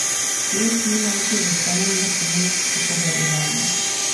Teh ni najti v samem načinu upovedovanja.